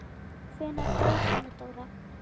Hvenær fór Anna Dóra?